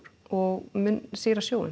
og mun sýra sjóinn